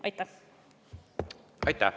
Aitäh!